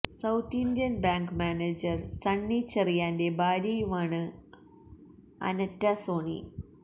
south Indian Bank manager Sunny ചെറിയാന്റെ ഭാര്യയുമാണ് Anetta Sony